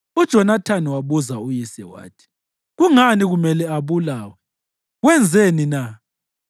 UJonathani wabuza uyise wathi, “Kungani kumele abulawe? Wenzeni na?”